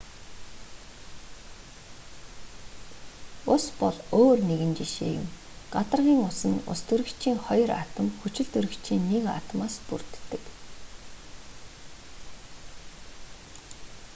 ус бол өөр нэгэн жишээ юм гадаргын ус нь устөрөгчийн хоёр атом хүчилтөрөгчийн нэг атомоос бүрддэг